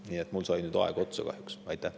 Nii, mul sai nüüd aeg kahjuks otsa.